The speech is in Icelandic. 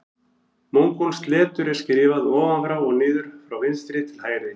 Mongólskt letur er skrifað ofan frá og niður frá vinstri til hægri.